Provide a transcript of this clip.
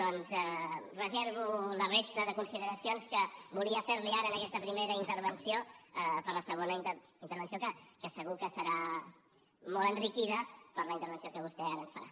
doncs reservo la resta de consideracions que volia fer li ara en aquesta primera intervenció per a la segona intervenció que segur que serà molt enriquida per la intervenció que vostè ara ens farà